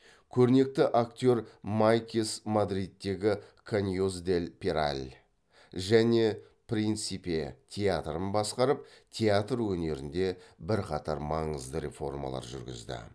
көрнекті актер майкес мадридтегі каньос дель пераль және принсипе театрын басқарып театр өнерінде бірқатар маңызды реформалар жүргізді